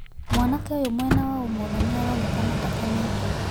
Mwanake ũyũ mwena wa ũmotho niaraonekana ndakenete.